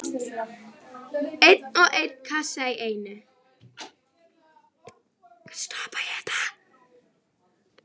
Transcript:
Einn og einn kassa í einu.